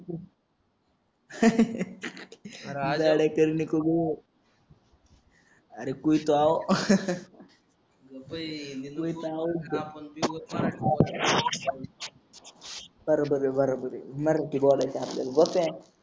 अरे आड आडकेल निकोगो अरे कोई तो आओ कोई तो आओ बराबर बराबर हे मराठी बोलायचं आहे आपल्याला